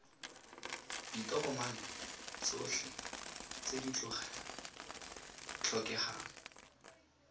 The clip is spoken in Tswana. ditokomane tsotlhe tse di tlhokegang